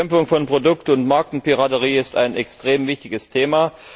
Die Bekämpfung von Produkt und Markenpiraterie ist ein extrem wichtiges Thema.